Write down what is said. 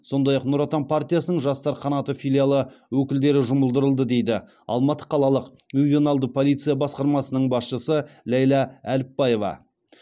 сондай ақ нұр отан партиясының жастар қанаты филиалы өкілдері жұмылдырылды дейді алматы қалалық ювеналды полиция басқармасының басшысы ләйлә әліпбаева